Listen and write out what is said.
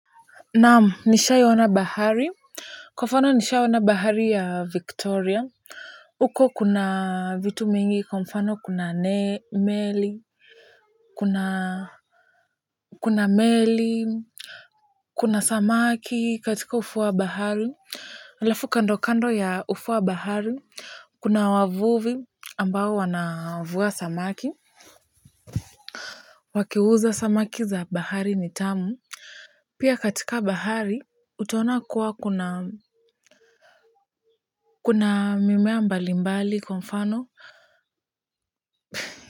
Naam, nishawahi ona bahari. Kwa mfano nishaona bahari ya Victoria. Huko kuna vitu mingi, kwa mfano kuna ndege, meli, kuna meli, kuna samaki katika ufuo wa bahari. Halafu kando kando ya ufuo wa bahari kuna wavuvi ambao wanavua samaki. Wakiuza samaki za bahari ni tamu pia katika bahari utaona kuwa kuna kuna mimea mbali mbali kwa mfano.